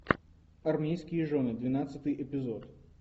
армейские жены двенадцатый эпизод